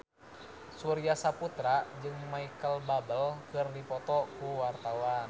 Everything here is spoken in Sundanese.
Surya Saputra jeung Micheal Bubble keur dipoto ku wartawan